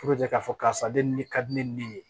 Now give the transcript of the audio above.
k'a fɔ karisa de ne ka di ne ye ne ye